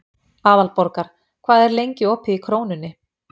Aðalborgar, hvað er lengi opið í Krónunni?